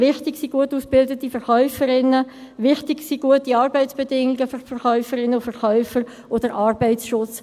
Wichtig sind gut ausgebildete Verkäuferinnen, wichtig sind gute Arbeitsbedingungen für die Verkäuferinnen und Verkäufer sowie der Arbeitsschutz.